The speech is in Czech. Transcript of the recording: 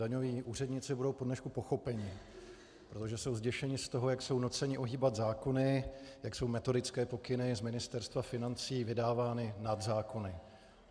Daňoví úředníci budou po dnešku pochopeni, protože jsou zděšeni z toho, jak jsou nuceni ohýbat zákony, jak jsou metodické pokyny z Ministerstva financí vydávány nad zákony.